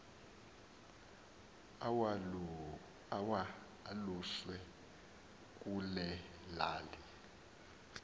awaluswe kule lali